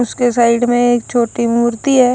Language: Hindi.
उसके साइड में एक छोटी मूर्ति है।